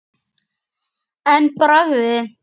Jóhann: En bragðið?